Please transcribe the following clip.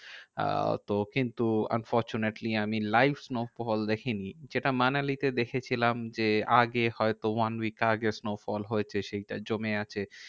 আহ তো কিন্তু unfortunately আমি live snowfall দেখিনি। যেটা মানালিতে দেখেছিলাম যে, আগে হয়তো one week আগে snowfall হয়েছে, সেইটা জমে আছে।